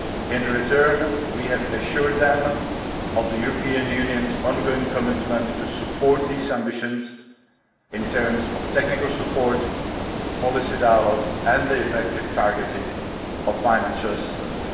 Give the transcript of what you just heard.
In return, we have assured it of the European Union's ongoing commitment to support those ambitions, in terms of technical support, policy dialogue, and the effective targeting of financial assistance.